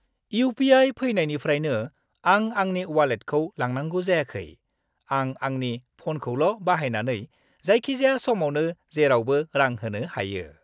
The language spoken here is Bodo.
इउ.पि.आइ. फैनायनिफ्रायनो आं आंनि वालेटखौ लांनांगौ जायाखै। आं आंनि फ'नखौल' बाहायनानै जायखिजाया समावनो जेरावबो रां होनो हायो।